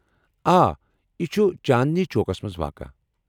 آ، یہ چٗھ چاندنی چوکس منٛز واقعہٕ ۔